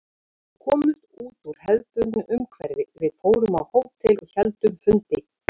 Við komumst út úr hefðbundnu umhverfi, við fórum á hótel og héldum fundi.